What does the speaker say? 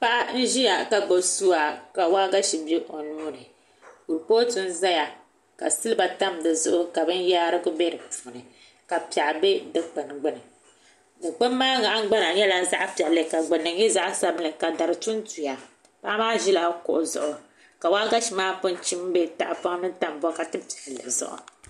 Paɣa n ʒiya ka gbubi suwa ka waagashe bɛ o nuuni kuripooti n ʒɛya ka silba tam di zuɣu ka binyaarigu bɛ di puuni ka piɛɣu bɛ dikpuni gbuni dikpuni maa nahangbana nyɛla zaɣ piɛlli ka gbunni nyɛ zaɣ sabinli ka dari tuntuya paɣa maa ʒila kuɣu zuɣu ka waagashe maa pun chim bɛ tahapoŋ ni tam bokati piɛlli zuɣu